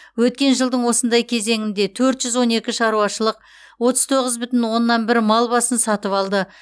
өткен жылдың осындай кезеңінде төрт жүз он екі шаруашылық отыз тоғыз бүтін оннан бір мал басын сатып алды